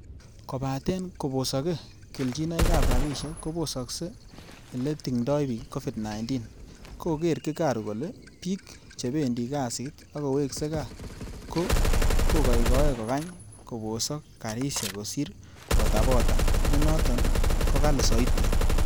Kobaten kobosoge kelchinoig ab rabishek kobosogse eletingdoi bik covid-19,Koker Gikaru kole bik chebendi kasit ak koweksei gaa ko goigoe kokany kobosok garisiek kosir botabota, nenoton kogali soiti.